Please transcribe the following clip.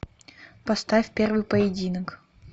поставь первый поединок